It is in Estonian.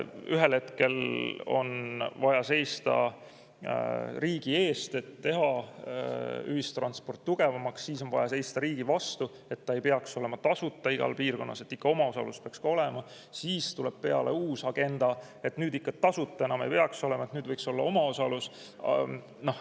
Ühel hetkel on vaja seista riigi eest, et teha ühistransport tugevamaks, siis on vaja seista riigi vastu, et ei peaks olema tasuta igas piirkonnas, peaks ikka omaosalus ka olema, siis tuleb peale uus agenda, et nüüd ikka tasuta enam ei saa, nüüd võiks olla omaosalus.